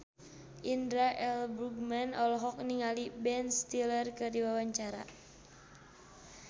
Indra L. Bruggman olohok ningali Ben Stiller keur diwawancara